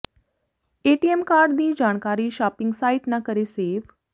ATM card ਦੀ ਜਾਣਕਾਰੀ shopping site ਨਾ ਕਰੇ ਸੇਵ